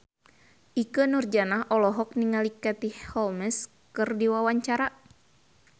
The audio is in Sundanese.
Ikke Nurjanah olohok ningali Katie Holmes keur diwawancara